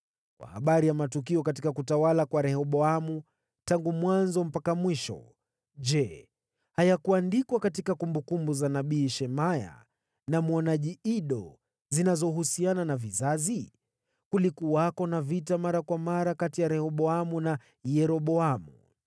Kwa habari ya matukio katika utawala wa Rehoboamu, tangu mwanzo mpaka mwisho, je, hayakuandikwa katika kumbukumbu za nabii Shemaya na mwonaji Ido zinazohusiana na vizazi? Kulikuwako na vita mara kwa mara kati ya Rehoboamu na Yeroboamu.